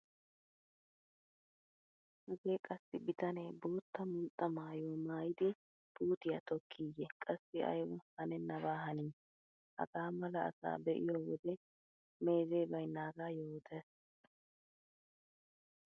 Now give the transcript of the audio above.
Hagee qassi bitanee bootta mulxxa maayuwa maayidi puutiya tokkiiyye qassi ayba hanennabaa hanii! Hagaa mala asaa be'iyo wode meezee baynnaagaa yootees.